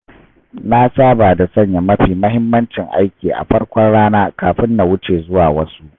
Na saba da sanya mafi muhimmancin aiki a farkon rana kafin na wuce zuwa wasu.